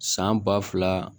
San ba fila